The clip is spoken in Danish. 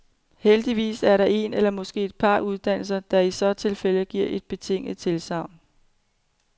Heldigvis er der en eller måske et par uddannelser, der i så tilfælde giver et betinget tilsagn.